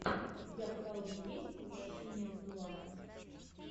у тебя в каталоге есть возвращение будулая